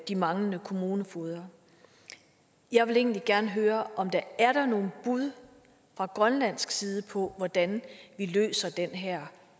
de manglende kommunefogeder jeg vil egentlig gerne høre om der er nogle bud fra grønlandsk side på hvordan vi løser den her